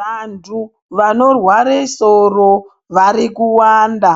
Vantu vano rware soro vari kuwanda